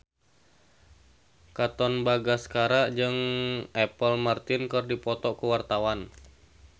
Katon Bagaskara jeung Apple Martin keur dipoto ku wartawan